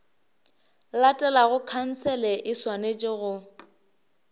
latelago khansele e swanetše go